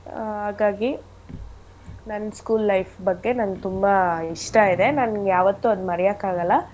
ಆಹ್ ಹಾಗಾಗಿ ನನ್ school life ಬಗ್ಗೆ ನನ್ಗ್ ತುಂಬಾ ಇಷ್ಟ ಇದೆ ನನ್ಗ್ ಯಾವತ್ತೂ ಅದ್ನ ಮರಿಯಕ್ ಆಗಲ್ಲ.